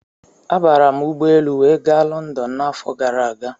Abara m ụgbọelu wee ga Lọndọn n'afọ gara aga.